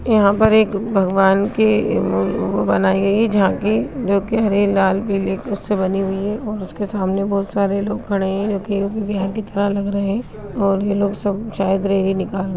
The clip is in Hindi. यहा पर एक भगवान की बनाई गयी है झांकी जो की हरे लाल पीले कुर्स से बनी हुई है और इसके सामने बहुत सारे लोग खड़े हैं जो कि यू_पी बिहार के तरह लग रहे हैं और यह लोग सब सायद रैली निकाल रहे है।